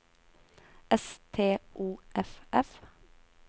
S T O F F